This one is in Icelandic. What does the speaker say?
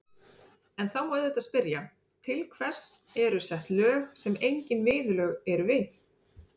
En þá má auðvitað spyrja, til hvers eru sett lög sem engin viðurlög eru við?